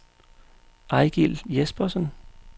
Eigil Jespersen